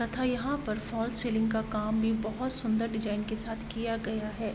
तथा यहाँ पर फाल सीलिंग का काम भी बहुत सुन्दर डिज़ाइन के साथ किया गया है।